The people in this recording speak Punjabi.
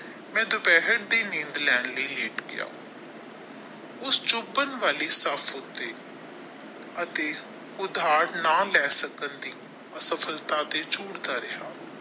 ਮੈ ਦੁਪਹਿਰ ਦੀ ਨੀਂਦ ਲੈਣ ਲਈ ਲੇਟ ਗਿਆ ਉਸ ਵਾਲੀ ਅਤੇ ਉਧਾਰ ਨਾ ਲੈ ਸਕਣ ਦੀ ਅਸਫ਼ਲਤਾ ਦੇ ਝੁੱਲਦਾ ਰਿਹਾ।